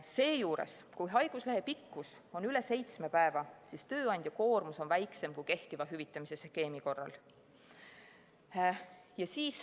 Seejuures, kui haiguslehe pikkus on üle seitsme päeva, siis tööandja koormus on väiksem kui kehtiva hüvitamise skeemi korral.